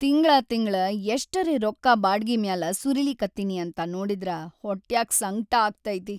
ತಿಂಗ್ಳಾ ತಿಂಗ್ಳ ಎಷ್ಟರೇ ರೊಕ್ಕಾ ಬಾಡ್ಗಿ ಮ್ಯಾಲ ಸುರೀಲಿಕತ್ತೀನಿ ಅಂತ ನೋಡಿದ್ರ ಹೊಟ್ಯಾಗ್ ಸಂಕ್ಟ ಆಗ್ತೈತಿ.